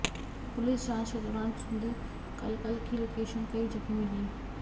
police जांच के दौरान सुदीप कलकल की लोकेशन कई जगह मिली